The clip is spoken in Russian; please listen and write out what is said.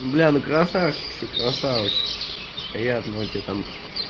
бля ну красавчик что красавчик приятного тебе там